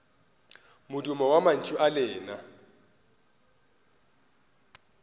modumo wa mantšu a lena